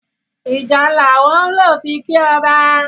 ìjálá wón ló fí kí ọba.